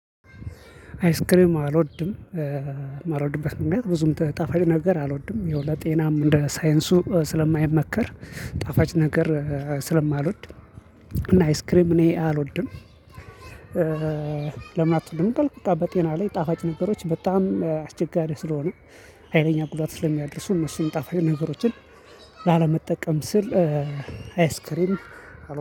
አይስክሪም አልወድም። የማልወድበት ምክንያት ብዙም ጣፋጭ ነገር አልወድም። ያው ለጤናም እንደ ሳይንሱ ስለማይመከር ጣፋጭ ነገር ስለማልወድ እና አይስክሬም እኔ አልወድም። ለምን አትወድም ካልክ? በቃ በጤና ላይ ጣፋጭ ነገሮች በጣም አስቸጋሪ ስለሆነ። ሀይለኛ ጉዳት ስለሚያደርሱ እነሱን ጣፋጭ ነገሮችን ላለመጠቀም ስል አይስክሪም አልወድም